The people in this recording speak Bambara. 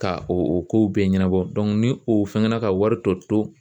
Ka o o kow bɛɛ ɲɛnabɔ ni o fɛngɛ na ka wari tɔ to